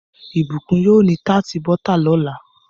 Ibukun yóò ní tart bota lọla.